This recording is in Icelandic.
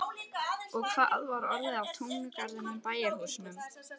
Og hvað var orðið af túngarðinum og bæjarhúsunum?